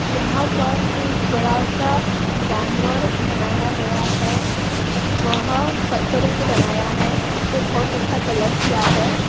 यहाँ पर एक बड़ासा जानवर बनाया गया है। वह पत्थरो से बनाया है। उसे बहुत अच्छा कलर किया है।